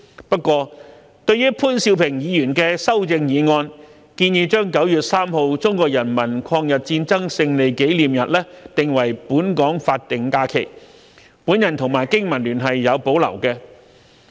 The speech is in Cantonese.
不過，對於潘兆平議員的修正案建議將9月3日中國人民抗日戰爭勝利紀念日定為本港法定假期，我和香港經濟民生聯盟是有保留的。